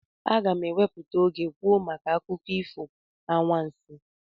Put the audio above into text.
Aga m ewepụta oge kwuo maka akụkọ ifo anwansị